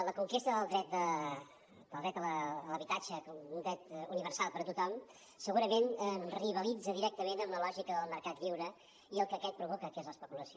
la conquesta del dret a l’habitatge com un dret universal per a tothom segurament rivalitza directament amb la lògica del mercat lliure i el que aquest provoca que és l’especulació